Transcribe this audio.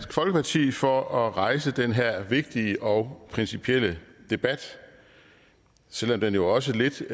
folkeparti for at rejse den her vigtige og principielle debat selv om den jo også lidt